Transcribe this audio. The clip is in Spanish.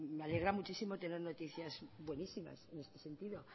me alegra muchísimo tener noticias buenísimas en ese sentido